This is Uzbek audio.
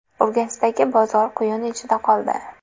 Urganchdagi bozor quyun ichida qoldi.